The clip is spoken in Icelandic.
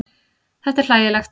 Þetta er hlægilegt.